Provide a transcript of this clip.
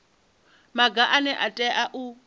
maga ane a tea u